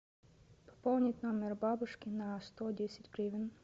пополнить номер бабушки на сто десять гривен